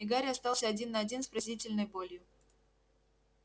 и гарри остался один на один с пронзительной болью